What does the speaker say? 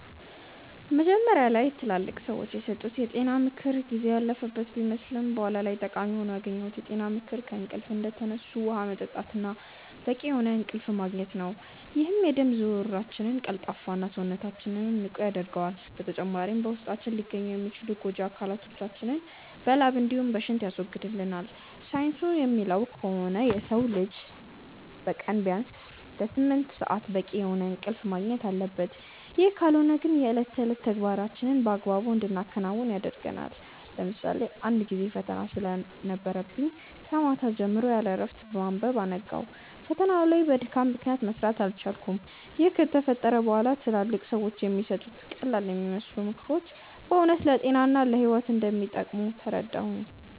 መጀመሪያ ላይ ትላልቅ ሰዎች የሰጡት የጤና ምክር ጊዜ ያለፈበት ቢመስልም በኋላ ላይ ጠቃሚ ሆኖ ያገኘሁት የጤና ምክር ከእንቅልፍ እንደተነሱ ውሃ መጠጣት እና በቂ የሆነ እንቅልፍ ማግኘት ነው፤ ይህም የደም ዝውውራችንን ቀልጣፋ እና፣ ሰውነታችንንም ንቁ ያደርገዋል። በተጨማሪም በውስጣችን ሊገኙ የሚችሉ ጎጂ አካላቶችን በላብ እንዲሁም በሽንት ያስወግድልናል። ሳይንሱ እንደሚለው ከሆነ የሰው ልጅ በቀን ቢያንስ ለስምንት ሰአት በቂ የሆነ እንቅልፍ ማግኘት አለበት፤ ይህ ካልሆነ ግን የእለት ተዕለት ተግባራችንን በአግባቡ እንዳናከናውን ያደርገናል። ለምሳሌ አንድ ጊዜ ፈተና ስለነበረብኝ ከማታ ጀምሮ ያለእረፍት በማንበብ አነጋው። ፈተናው ላይ ግን በድካም ምክንያት መስራት አልቻልኩም። ይህ ከተፈጠረ በኋላ ትላልቅ ሰዎች የሚሰጡት ቀላልየሚመስሉ ምክሮች በእውነት ለጤና እና ለህይወት እንደሚጠቅሙ ተረዳሁ።